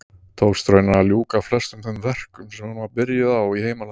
Tókst raunar að ljúka flestum þeim verkum sem hún var byrjuð á í heimalandi sínu.